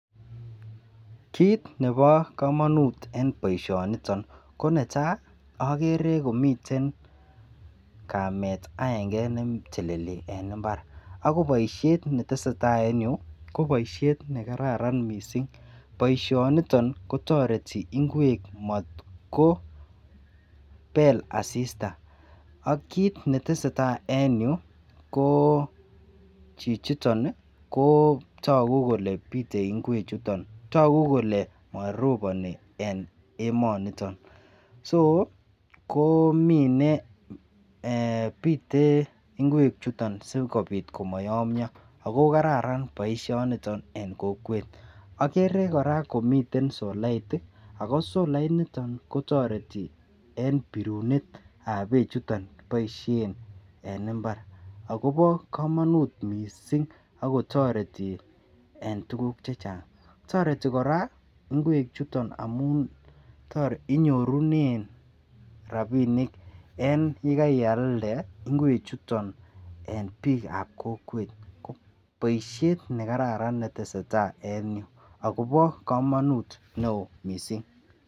Kit nebo komonut en boishoniton ko netai okere komiten kamet aenge neteleli en imbar ako boishet netesetai en yuu ko boishet nekararan missing boishoniton kotoreti ingwek motko bel asista. AK kit netesetai en yuu ko chichiton niii ko toku kole pite ingwek chuton, toku kole moroponi en emoniton Soo ko mine eeh pite ingwek chuton sikopit komoyomyo ako kararan boishoniton en kokwet. Okere Koraa komiten solait tii ako solait niton kotoreti en birunetab bechuton boishen en imbar akobo komonut missing akotoreti en tukuk chechang. Toreti Koraa ingwek chuton amun toreti inyorunen rabinik yekoialde ingwek chuton en bikab kokwet, boishet nekararan netesetai en yuu akobo komonut neo missing.